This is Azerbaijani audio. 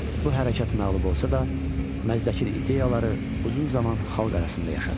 Bu hərəkat məğlub olsa da, Məzdəkin ideyaları uzun zaman xalq arasında yaşadı.